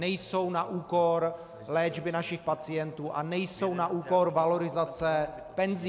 Nejsou na úkor léčby našich pacientů a nejsou na úkor valorizace penzí.